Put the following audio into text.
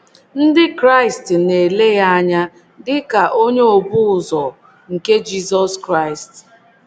Ndị Kraịst na - ele ya anya dị ka onye obu ụzọ nke Jizọs Kraịst.